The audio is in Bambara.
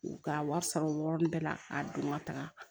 U ka wari sara o yɔrɔnin bɛɛ la k'a don ŋa taga